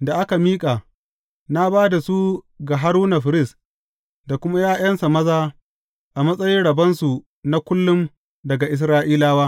da aka miƙa, na ba da su ga Haruna firist da kuma ’ya’yansa maza a matsayin rabonsu na kullum daga Isra’ilawa.’